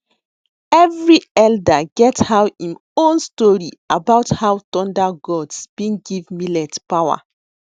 every elder get how em own story about how thunder gods been give millet power